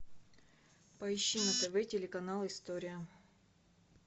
поищи на тв телеканал история